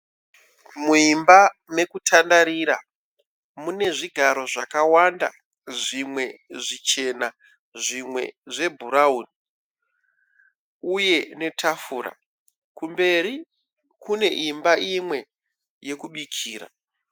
Muimba mekutandarira mune zvigaro zvakawanda. Zvimwe zvichena zvimwe zvebhurauni uye netafura . Kumberi kune imba imwe yekubikira.